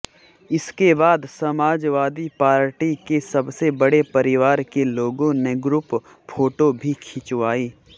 इसके बाद समाजवादी पार्टी के सबसे बड़े परिवार के लोगों ने ग्रुप फोटो भी खिचवाई